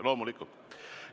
Loomulikult!